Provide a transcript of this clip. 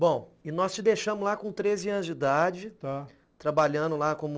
Bom, e nós te deixamos lá com treze anos de idade, trabalhando lá como...